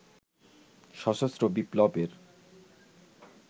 সশস্ত্র বিপ্লবের